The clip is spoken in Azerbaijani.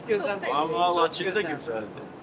Amma Laçın da gözəldir.